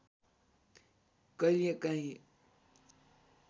कहिले काँही